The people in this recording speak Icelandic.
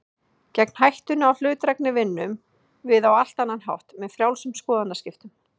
Gegn hættunni á hlutdrægni vinnum við á allt annan hátt, með frjálsum skoðanaskiptum.